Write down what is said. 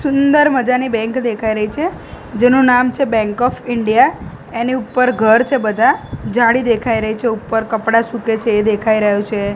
સુંદર મજાની બેંક દેખાય રહી છે જેનું નામ છે બેંક ઓફ ઇન્ડિયા એની ઉપર ઘર છે બધા જાળી દેખાય રહી છે ઉપર કપડાં સૂકે છે એ દેખાય રહ્યુ છે.